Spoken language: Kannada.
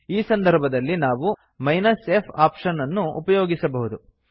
ಈ ಸಂದರ್ಭದಲ್ಲಿ ನಾವು f ಆಪ್ಶನ್ ಅನ್ನು ಉಪಯೋಗಿಸಬಹುದು